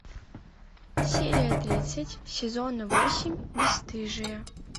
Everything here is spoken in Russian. серия тридцать сезона восемь бесстыжие